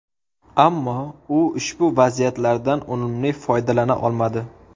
Ammo u ushbu vaziyatlardan unumli foydalana olmadi.